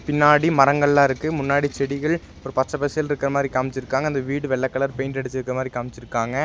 பின்னாடி மரங்கெல்லா இருக்கு முன்னாடி செடிகள் ஒரு பச்சபசேல் இருக்கற மாரி காம்ச்சிருக்காங்க அந்த வீடு வெள்ள கலர் பெயிண்ட் அடுச்சிருக்க மாரி காம்ச்சிருக்காங்க.